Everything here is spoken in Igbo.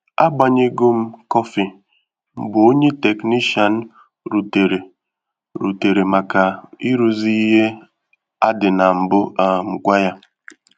A gbanyego m kọfị mgbe ònye teknishian rutere rutere maka ịrụzi ìhè adị na mbụ um gwa ya